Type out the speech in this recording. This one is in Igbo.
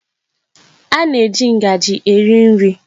A na-eji ngaji eri nri.